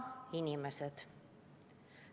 Aga inimesed?